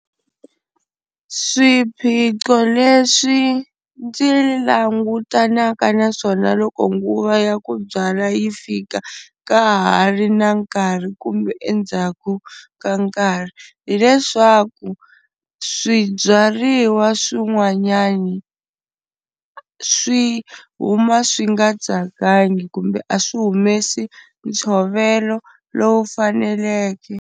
Swiphiqo leswi ndzi langutanaka na swona loko nguva ya ku byala yi fika ka ha ri na nkarhi kumbe endzhaku ka nkarhi hi leswaku, swibyariwa swin'wanyani swi huma swi nga tsakangi kumbe a swi humesi ntshovelo lowu faneleke.